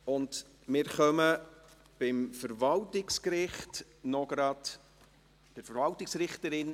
Wir kommen beim Verwaltungsgericht noch gleich zur Vereidigung der Verwaltungsrichterin.